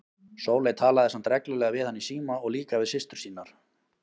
Sóley talaði samt reglulega við hann í síma og líka við systur sínar.